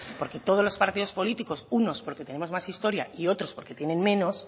porque todos los partidos políticos unos porque tenemos más historia y otros porque tienen menos